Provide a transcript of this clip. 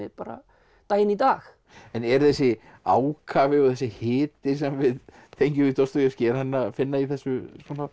bara daginn í dag en er þessi ákafi og þessi hiti sem við tengjum við Dostojevskí er hann að finna í þessu